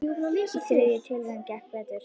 Í þriðju tilraun gekk betur.